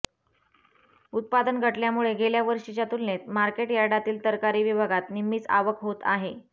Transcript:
उत्पादन घटल्यामुळे गेल्या वर्षीच्या तुलनेत मार्केट यार्डातील तरकारी विभागात निम्मीच आवक होत आहे